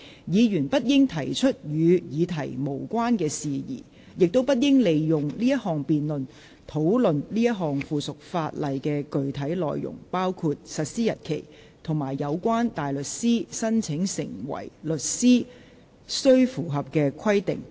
議員不應提出與議題無關的事宜，亦不應利用這項辯論，討論這項附屬法例的具體內容，包括實施日期及有關大律師申請成為律師須符合的規定。